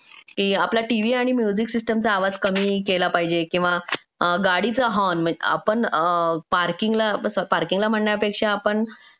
आपल्या टीव्ही किंवा म्युझिक सिस्टीमचा आवाज कमी केला पाहिजे किंवा गाडीचा हॉर्न म्हणजे आपण पार्किंगला पार्किंगला म्हणण्यापेक्षा आपण